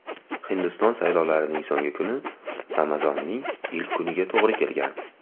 Hindiston saylovlarining so‘nggi kuni Ramazonning ilk kuniga to‘g‘ri kelgan.